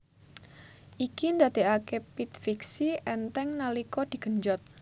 Iki ndadekake pit fixie enteng nalika digenjot